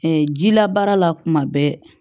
jila baara la kuma bɛɛ